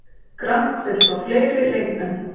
Grant vill fá fleiri leikmenn